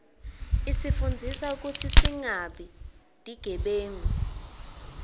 isifundzisa kutsi singabi tigebengu